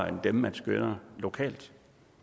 end det man skønner lokalt